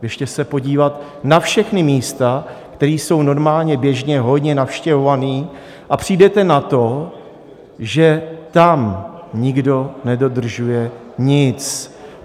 Běžte se podívat na všechna místa, která jsou normálně běžně hodně navštěvovaná, a přijdete na to, že tam nikdo nedodržuje nic.